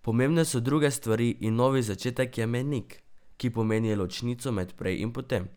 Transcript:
Pomembne so druge stvari in novi začetek je mejnik, ki pomeni ločnico med prej in potem.